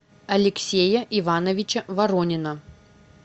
алексея ивановича воронина